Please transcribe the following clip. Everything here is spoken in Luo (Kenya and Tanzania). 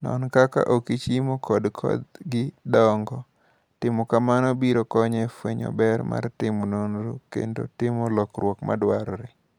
Non kaka okichmo kod kodhi dongo ,timo kamano biro konyo e fwenyo ber mar timo nonro kendo timo lokruok madwarore.